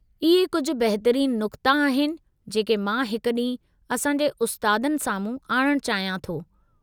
इहे कुझु बहितरीनु नुक़्ता आहिनि जेके मां हिकु ॾींहुं असां जे उस्तादनि साम्हूं आणणु चाहियां थो।